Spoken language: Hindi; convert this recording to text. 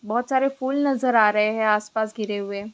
बहुत सारे फूल नजर आ रहे है आसपास गिरे हुए।